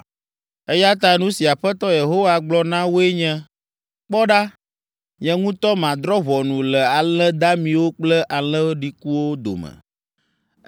“Eya ta nu si Aƒetɔ Yehowa gblɔ na woe nye, ‘Kpɔ ɖa, nye ŋutɔ madrɔ̃ ʋɔnu le alẽ damiwo kple alẽ ɖikuwo dome.